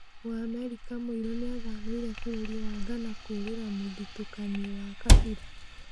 Mũamerika mũirũ nĩathamĩire bũrũri wa Ghana 'kũũrĩra mũthutũkanio wa kabira '